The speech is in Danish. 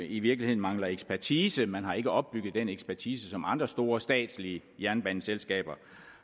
i virkeligheden mangler ekspertise man har ikke opbygget den ekspertise som andre store statslige jernbaneselskaber